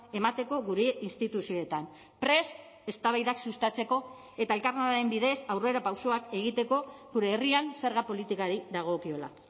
emateko gure instituzioetan prest eztabaidak sustatzeko eta elkarlanaren bidez aurrerapausoak egiteko gure herrian zerga politikari dagokiola